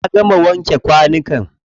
Na gama wanke kwanukan.